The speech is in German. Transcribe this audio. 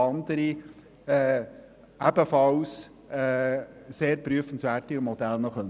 Es sollen andere, ebenfalls sehr prüfenswerte Modelle angeschaut werden.